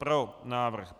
Pro návrh.